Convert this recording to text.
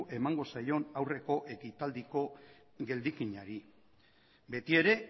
emango zaion aurreko ekitaldiko geldikinari beti ere